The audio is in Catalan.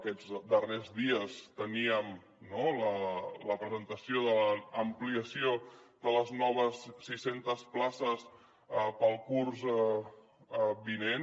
aquests darrers dies teníem no la presentació de l’ampliació de les noves sis centes places per al curs vinent